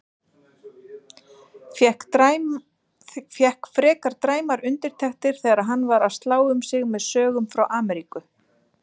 Fékk frekar dræmar undirtektir þegar hann var að slá um sig með sögum frá Ameríku.